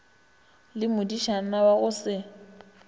le modišana wa go se